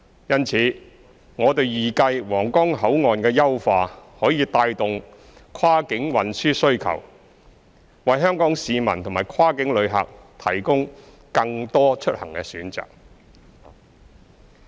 因此，我們預計皇崗口岸的優化可帶動跨境運輸需求，為香港市民和跨境旅客提供更多出行選擇。